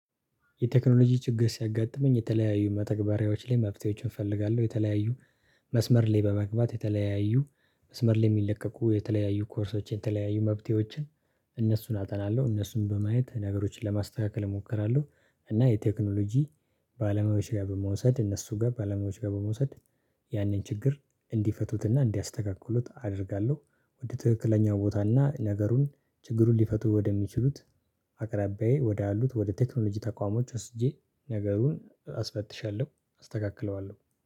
የቴክኖሎጂ ችግር ሲያጋጥመኝ የተለያዩ መተግበሪያዎች ላይ መፍትሄዎችን እፈልጋለሁ የተለያዩ መስመር ላይ በመግባት የተለያዩ መስመር ላይ የሚለቀቁ የተለያዩ ኮርሶችን የተለያዩ መፈትሄዎችን እነሱን አጠናለሁ። እነሱን በማየት ነገሮችን ለማስተካከል እሞክራለሁ እና የቴክኖሎጂ በአለሞያዊች ጋር በመውሰድ እነሱ ጋር በአለማዊዎች ጋር በመውሰድ ያንን ችግር እንዲፈቱትና እንዲያስተካክሉት አደርጋለሁ። ውድ ትክክለኛ ቦታና ነገሩን ችግሩን ሊፈቱ ወደሚችሉት አቅራቢያዬ ወደ አሉት ወደ ቴክኖሎጂ ተቋማት ወስጄ ነገሩን አስፈትሻለሁ አስተካክለዋለሁ